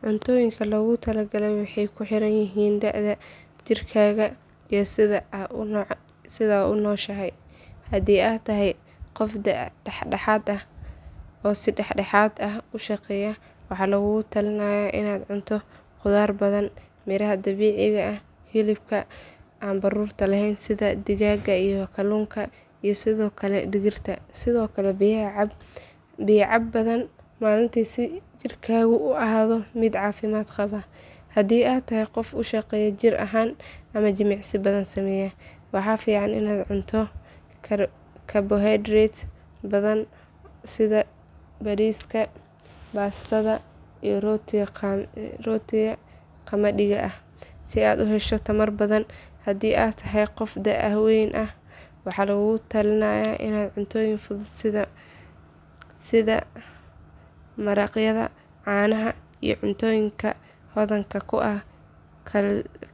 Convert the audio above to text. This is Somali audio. Cuntooyinka lagugula taliyo waxay ku xiran yihiin da’daada, jirkaaga iyo sida aad u nooshahay. Haddii aad tahay qof da’ dhexaad ah oo si dhexdhexaad ah u shaqeeya, waxaa lagugula talinayaa inaad cunto khudaar badan, miraha dabiiciga ah, hilibka aan baruurta lahayn sida digaagga iyo kalluunka, iyo sidoo kale digirta. Sidoo kale biyaha cab badan maalintii si jirkaagu u ahaado mid caafimaad qaba. Haddii aad tahay qof aad u shaqeeya jir ahaan ama jimicsi badan sameeya, waxaa fiican inaad cunto carbohydrates badan sida bariiska, baastada, iyo rootiga qamadiga ah, si aad u hesho tamar badan. Haddii aad tahay qof da’ weyn ah, waxaa lagugula talinayaa cuntooyin fudud sida maraqyada, caanaha iyo cuntooyinka hodanka ku ah